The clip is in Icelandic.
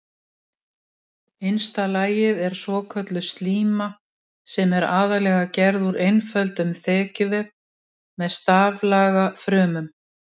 Innsta lagið er svokölluð slíma sem er aðallega gerð úr einföldum þekjuvef með staflaga frumum.